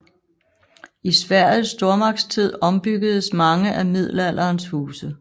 I Sveriges stormagtstid ombyggedes mange af middelalderens huse